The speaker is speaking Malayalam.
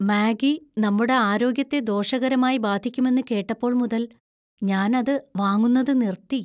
മാഗി നമ്മുടെ ആരോഗ്യത്തെ ദോഷകരമായി ബാധിക്കുമെന്ന് കേട്ടപ്പോൾ മുതൽ ഞാൻ അത് വാങ്ങുന്നത് നിർത്തി.